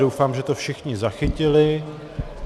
Doufám, že to všichni zachytili.